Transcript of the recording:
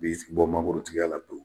B'i sen bɔ mangoro tigiya la pewu